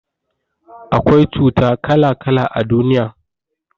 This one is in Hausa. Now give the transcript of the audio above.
Akwai cuta kala kala a duniya